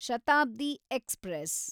Shatabdi express